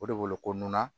O de wolo ko nan